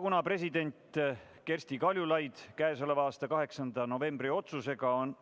Kuna president Kersti Kaljulaidi k.a 18. novembri otsusega nr